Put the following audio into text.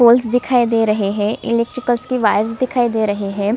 Holes दिखाई दे रहे है इलेक्ट्रिकल के वायर दिखाई दे रहे है।